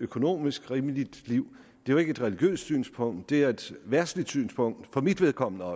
økonomisk rimeligt liv det jo ikke et religiøst synspunkt det er et verdsligt synspunkt for mit vedkommende